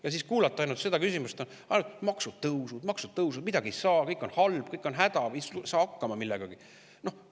Ja siis kuuleme ainult seda, et on maksutõusud, maksutõusud, midagi ei saa, kõik on halb, kõik on häda, ei saa millegagi hakkama.